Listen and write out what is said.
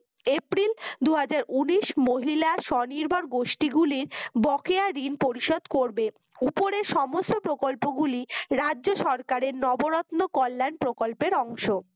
April দুই হাজার উনিশ মহিলা সনির্ভর গোষ্ঠী গুলির বকেয়া রিন পরিশোধ করবে উপরের সমস্ত প্রকল্পগুলি রাজ্যের সরকারের নবরত্ন কল্যাণ প্রকল্পের অংশ